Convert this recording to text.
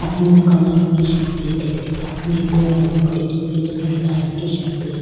आदमी ने काला रंग की शर्ट पहनो दिख री पास में एक और आदमी खड़ो दिख रो जो नीला रंग की शर्ट पहरी।